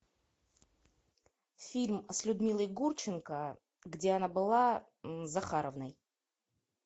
фильм с людмилой гурченко где она была захаровной